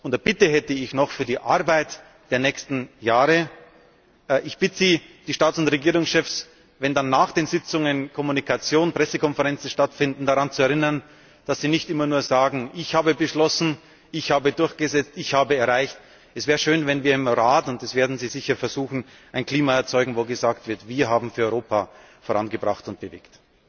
Eine Bitte hätte ich noch für die Arbeit der nächsten Jahre Ich bitte Sie, die Staats und Regierungschefs, wenn dann nach den Sitzungen Kommunikation, Pressekonferenzen stattfinden, daran zu erinnern, dass sie nicht immer nur sagen Ich habe beschlossen, ich habe durchgesetzt, ich habe erreicht Es wäre schön, wenn wir im Rat, und das werden Sie sicher versuchen, ein Klima erzeugen, wo gesagt wird Wir haben für Europa vorangebracht und bewegt.